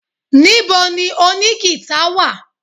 Níbo ni oní gìtá wà?